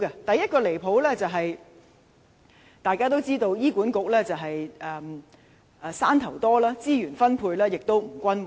第一個離譜之處，大家也知道，醫院管理局"山頭"多，資源分配不均。